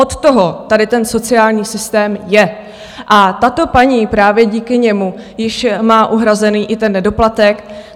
Od toho tady ten sociální systém je a tato paní právě díky němu již má uhrazený i ten nedoplatek.